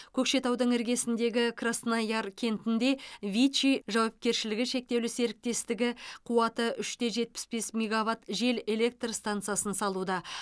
көкшетаудың іргесіндегі краснояр кентінде вичи жауапкершілігі шектеулі серіктестігі қуаты үште жетпіс бес мегаватт жел электр станасы салуда